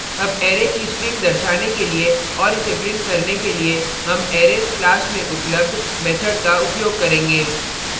अब arrays की string दर्शाने के लिए और इसे print करने के लिए हम arrays class में उपलब्ध method का उपयोग करेंगे